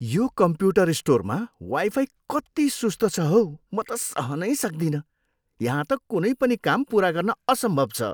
यो कम्प्युटर स्टोरमा वाइफाई कति सुस्त छ हौ म त सहनै सक्दिनँ। यहाँ त कुनै पनि काम पुरा गर्न असम्भव छ।